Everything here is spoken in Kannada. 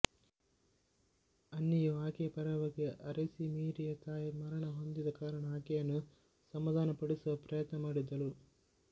ಅನ್ನಿಯು ಆಕೆಯ ಪರವಾಗಿ ಅರಸಿ ಮೇರಿಯ ತಾಯಿ ಮರಣ ಹೊಂದಿದ ಕಾರಣ ಆಕೆಯನ್ನು ಸಮದಾನ ಪಡಿಸುವ ಪ್ರಯತ್ನ ಮಾಡಿದಳು